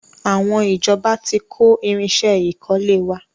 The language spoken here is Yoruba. Àwọn ìjọba tí kó irinsẹ́ ìkọ́lé wa.